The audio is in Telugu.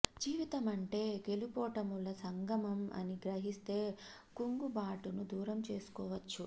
జీవితమంటే గెలుపోటముల సంగ మం అని గ్రహిస్తే కుంగుబాటును దూరం చేసుకోవచ్చు